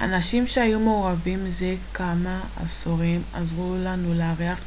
אנשים שהיו מעורבים זה כמה עשורים עזרו לנו להעריך